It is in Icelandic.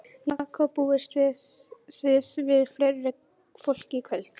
Jakob, búist þið við fleira fólki í kvöld?